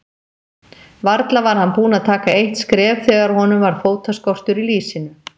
Varla var hann búinn að taka eitt skref þegar honum varð fótaskortur í lýsinu.